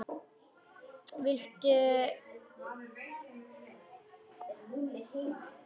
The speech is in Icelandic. Viltu að ég veki hana?